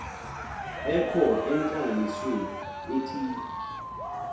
ekho entlanganisweni ethile